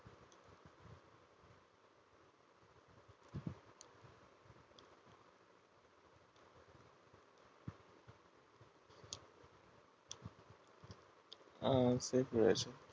আহ safe রয়েছে